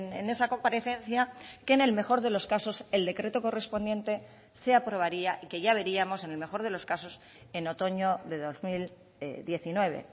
en esa comparecencia que en el mejor de los casos el decreto correspondiente se aprobaría y que ya veríamos en el mejor de los casos en otoño de dos mil diecinueve